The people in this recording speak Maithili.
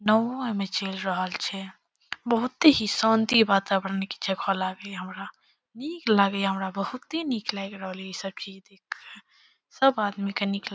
नाउ ई में चल रहल छे। बहुते ही शांति वातावरण बहुत की छे को लागे हमरा। निक लागे हमरा बहुते निक लाग रहले ई सब देख कर। सब आदमी के निक ला --